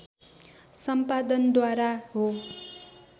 सम्पादन द्वारा हो